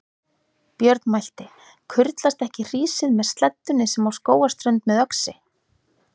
Björn mælti: Kurlast ekki hrísið með sleddunni sem á Skógarströnd með öxi?